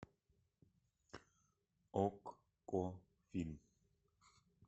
окко фильм